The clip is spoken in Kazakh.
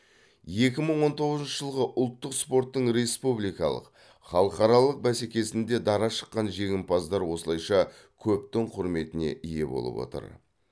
екі мың он тоғызыншы жылғы ұлттық спорттың республикалық халықаралық бәсекесінде дара шыққан жеңімпаздар осылайша көптің құрметіне ие болып отыр